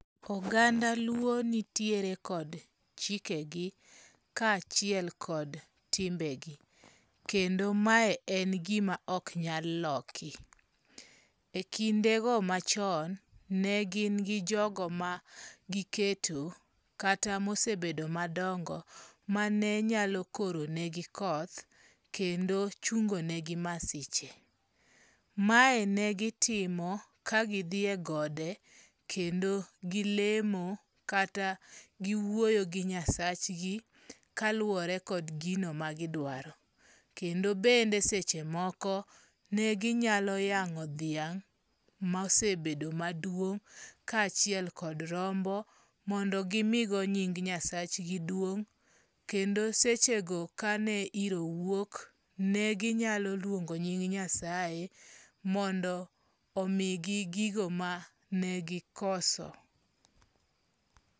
Oganda luo nitiere kod chikegi, kachiel kod timbegi, kendo mae en gima ok nyal loki, e kindego machon, negin gi jogo ma giketo kata mogisebedo madongo' manenyalo koronegi koth, kendo chungone gi masiche, mae negitimo kagithie gode, kendo gilemo kata giwuoyo gi nyasachgi kaluwore kod gino magidrwaro, kendo bende sechemoko, neginyalo yango' thiang' mosebedo maduong', kachiel kod rombo mondo gi migo nying nyasachgi duong' kendo sechego kane hiro wuok neginyalo luongo' nying' nyasaye mondo omigi gigo manegikoso.